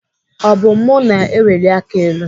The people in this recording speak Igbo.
Ọ bụ mụ na-eweli aka elu.